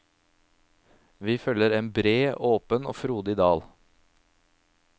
Vi følger en bred, åpen og frodig dal.